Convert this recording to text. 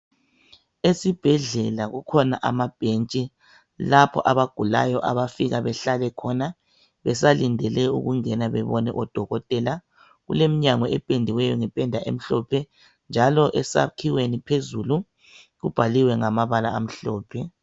Esibhedlela kukhona ama bhentshi lapho abagulayo abafika behlale khona besalindele ukungena bebone odokotela. Kuleminyango ephendiweyo ngephenda emhlophe, njalo esakhiweni phezulu kubhaliwe ngamabala amhlophe.